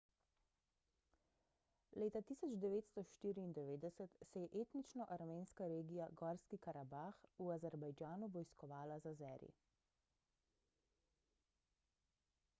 leta 1994 se je etnično armenska regija gorski karabah v azerbajdžanu vojskovala z azeri